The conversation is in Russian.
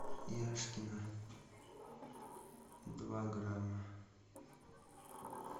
яшкино два грамма